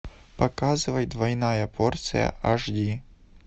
показывай двойная порция аш ди